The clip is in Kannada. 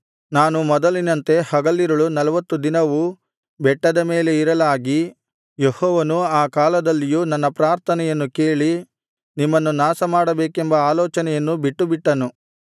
ನಾನು ಮೊದಲಿನಂತೆ ಹಗಲಿರುಳು ನಲ್ವತ್ತು ದಿನವೂ ಬೆಟ್ಟದ ಮೇಲೆ ಇರಲಾಗಿ ಯೆಹೋವನು ಆ ಕಾಲದಲ್ಲಿಯೂ ನನ್ನ ಪ್ರಾರ್ಥನೆಯನ್ನು ಕೇಳಿ ನಿಮ್ಮನ್ನು ನಾಶಮಾಡಬೇಕೆಂಬ ಆಲೋಚನೆಯನ್ನು ಬಿಟ್ಟುಬಿಟ್ಟನು